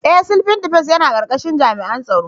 Ee! Civil Defence yana karkashin jami'an tsaro.